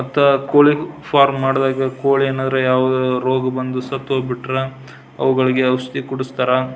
ಮತ್ತ ಕೋಳಿ ಫಾರಂ ಮಾಡಿದಾಗ ಕೋಳಿ ಏನಾರ್ರ ಯಾವದಾದ್ರು ರೋಗ ಬಂದ್ ಸತ್ತೊಗ್ಬಿಟ್ರೆ ಅವುಗಳಿಗೆ ಔಷದಿ ಕುಡಿಸ್ತಾರಾ.